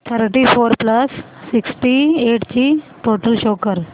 thirty four plus sixty eight ची total show कर